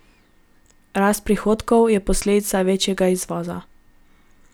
Rast prihodkov je posledica večjega izvoza.